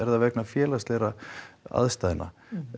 það vegna félagslegra aðstæðna